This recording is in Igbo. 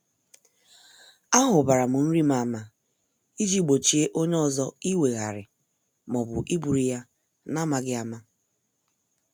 A hubaram nrim ama iji gbochie onye ọzọ iweghari maọbụ iburu ya n' amaghị ama.